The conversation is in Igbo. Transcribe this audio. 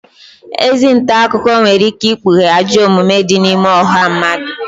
Ezi nta akụkọ nwere ike ikpughe ajọ omume di n’ime ọha mmadụ